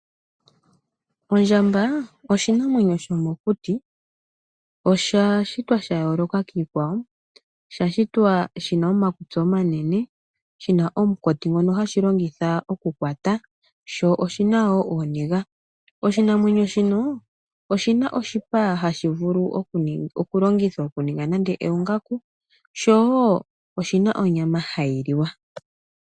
Ondjamba oshinamwenyo shomokuti. Osha shitwa sha yooloka kiikwawo. Osha shitwa shi na omakutsi omanene, shi na omunkati ngono hashi longitha okukwata, sho oshi na wo ooniga. Oshinamwenyo shino oshi na oshipa hashi vulu okulongithwa okuningwa nande oongaku, sho oshi na onyama hayi liwa.